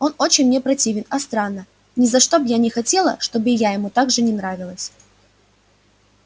он очень мне противен а странно ни за что б я не хотела чтоб и я ему так же не нравилась